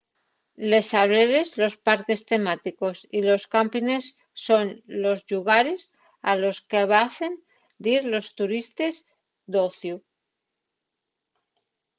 les sableres los parques temáticos y los cámpines son los llugares a los qu'avecen dir los turistes d'ociu